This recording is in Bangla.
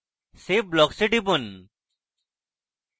save blocks এ টিপুন